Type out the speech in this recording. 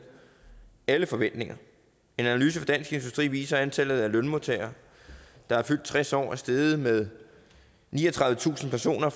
alle forventninger en analyse fra dansk industri viser at antallet af lønmodtagere der er fyldt tres år er steget med niogtredivetusind personer